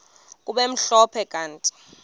kube mhlophe kanti